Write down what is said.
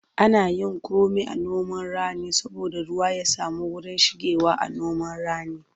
Ana yin komi a noman rani saboda ruwa ya samu wurin shigewa.a noman rani